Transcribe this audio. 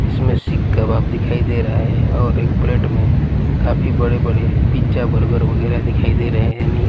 इसमें सिक कबाब दिखाई दे रहा है और एक प्लेट में काफी बड़े-बड़े पिज़्ज़ा बर्गर वगैरह दिखाई दे रहे हैं यानी--